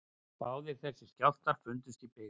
Báðir þessir skjálftar fundust í byggð